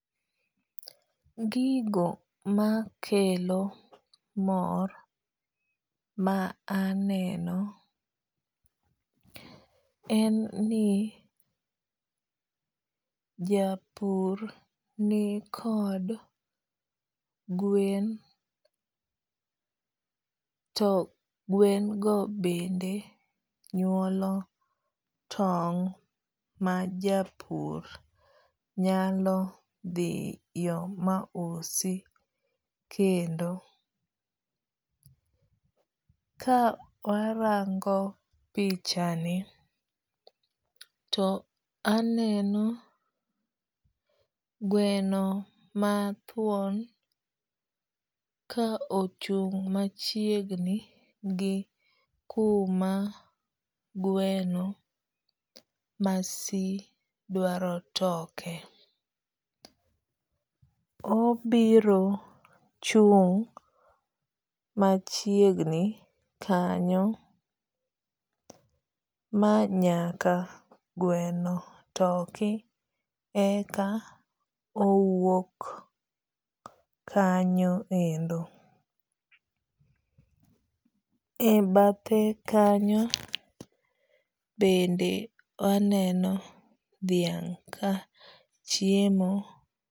Gigo makelo mor ma aneno en ni japur ni kod gwen to gwen go bende nyuolo tong' ma japur nyalo dhiyo ma usi. Kendo ka warango pichani to aneno gweno ma thuon ka ochung' machiegni gi kuma gweno ma si dwaro toke. Obiro chung' machiegni kanyo ma nyaka gweno toki eka owuok kanyo endo. E bathe kanyo bende waneno dhiang' kachiemo.